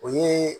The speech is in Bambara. O ye